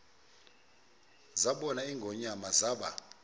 zabona ingonyama zaba